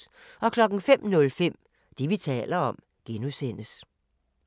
05:05: Det, vi taler om (G)